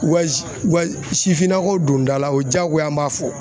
Wa u ka sifinnakaw don dala, o ye diyagoya an b'a fɔ.